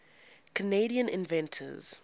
canadian inventors